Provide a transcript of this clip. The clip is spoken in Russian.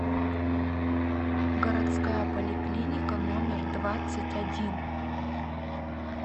городская поликлиника номер двадцать один